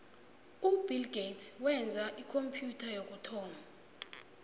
ubill gates wenza ikhompyutha yokuthoma